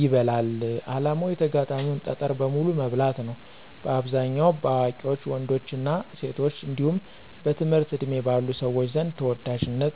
ይበላል። ዓላማው የተጋጣሚን ጠጠር በሙሉ መብላት ነው። በአብዛኛው በአዋቂ ወንዶችና ሴቶች እንዲሁም በትምህርት ዕድሜ ባሉ ልጆች ዘንድ ተወዳጅ ነው።